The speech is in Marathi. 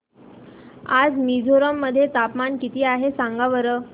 आज मिझोरम मध्ये तापमान किती आहे सांगा बरं